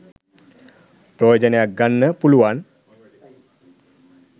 ප්‍රයෝජනයක් ගන්න පුළුවන්